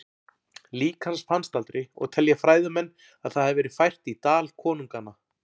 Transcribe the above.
Lík hans fannst aldrei og telja fræðimenn að það hafi verið fært í Dal konunganna.